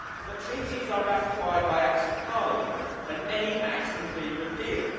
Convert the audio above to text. But treaties are ratified by acts of parliament, and any act can be repealed.